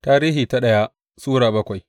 daya Tarihi Sura bakwai